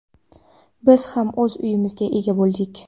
Biz ham o‘z uyimizga ega bo‘ldik.